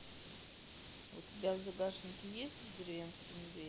у тебя в загашнике есть деревенский медведь